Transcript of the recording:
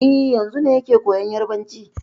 E, yanzun ne yake koyan Yarbanci.